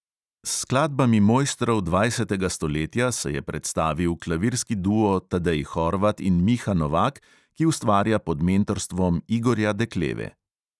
S skladbami mojstrov dvajsetega stoletja se je predstavil klavirski duo tadej horvat in miha novak, ki ustvarja pod mentorstvom igorja dekleve.